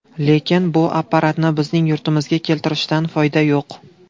Lekin bu apparatni bizning yurtimizga keltirishdan foyda yo‘q.